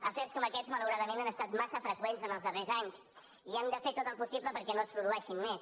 afers com aquests malauradament han estat massa freqüents els darrers anys i hem de fer tot el possible perquè no se’n produeixin més